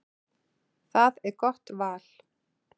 Það er gott val.